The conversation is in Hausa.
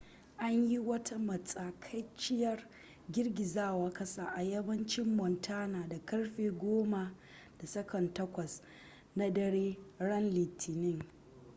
an yi wata matsakaiciyar girgizar kasa a yammacin montana da karfe 10:08 na dare ran litinin